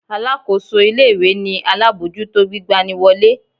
Alákóso ilé-ìwé ni alábòójútó gbigba ni wọlé.